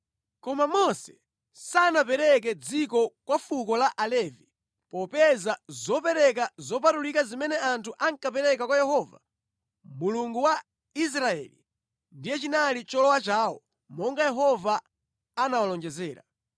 Koma Mose sanapereke dziko kwa fuko la Alevi popeza zopereka zopatulika zimene anthu ankapereka kwa Yehova, Mulungu wa Israeli, ndizo zinali cholowa chawo monga Yehova anawalonjezera.